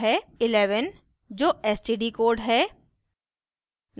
* 1 1 जो std code है